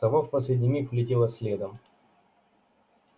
сова в последний миг влетела следом